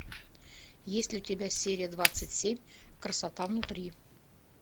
есть ли у тебя серия двадцать семь красота внутри